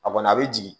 A kɔni a bɛ jigin